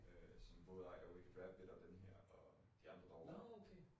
Øh som både ejer Wicked Rabbit og denne her og de andre derovre